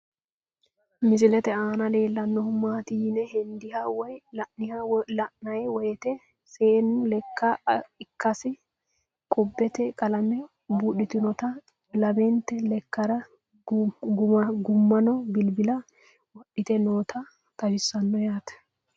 Misilette aanna leellanohu maatti yine hendanni woyi la'nanni woyiitte seennu lekka ikkase, qubbette qalame buudhittinnotta, lamante leekkara gumaammo bilibilla wodhitte nootta xawissanno yaatte